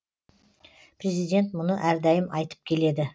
президент мұны әрдайым айтып келеді